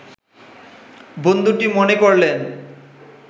বন্ধুটি মনে করলেন